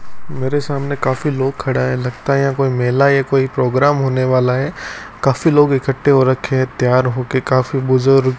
मेरे सामने काफी लोग खड़ा है लगता है यहां कोई मेला या कोई प्रोग्राम होने वाला है काफी लोग इकट्ठे हो रखे हैं तैयार हो के काफी बुजुर्ग--